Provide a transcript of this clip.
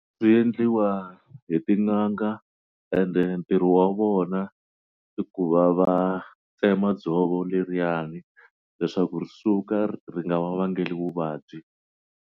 Swi endliwa hi tin'anga and-e ntirho wa vona i ku va va tsema dzovo leriyani leswaku ri suka ri nga va vangeli vuvabyi.